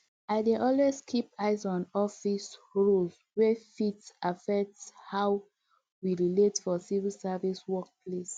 i dey always keep eye on office um rules wey fit affect how we um relate for civil service work place